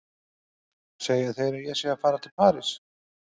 Segja þeir að ég sé að fara til París?